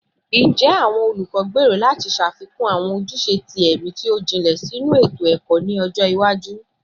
Njẹ awọn olukọ gbero lati ṣafikun awọn ojuse ti ẹmi ti o jinlẹ sinu eto-ẹkọ ni ọjọ iwaju?